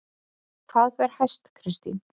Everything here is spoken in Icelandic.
Hvað ber hæst Kristín?